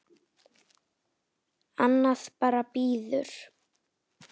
Annað bara bíður.